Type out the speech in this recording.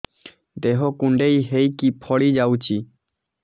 ଦେହ କୁଣ୍ଡେଇ ହେଇକି ଫଳି ଯାଉଛି